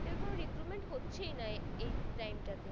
recruitment হচ্ছেই না এ~এই টাইম তাতে